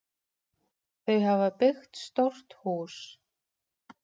Þau hafa byggt stórt hús.